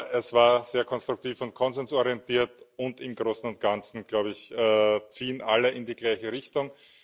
Aber es war sehr konstruktiv und konsensorientiert, und im Großen und Ganzen, glaube ich, ziehen alle in die gleiche Richtung.